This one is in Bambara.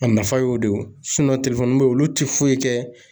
A nafa y'o de ye wo be yen olu te foyi kɛ